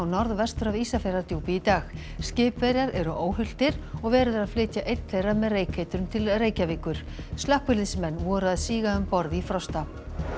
norðvestur af Ísafjarðardjúpi í dag skipverjar eru óhultir og verið er að flytja einn þeirra með reykeitrun til Reykjavíkur slökkviliðsmenn voru að síga um borð í Frosta